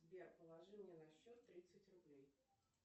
сбер положи мне на счет тридцать рублей